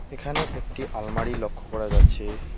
এখানে একটি আলমারি লক্ষ করা যাচ্ছে।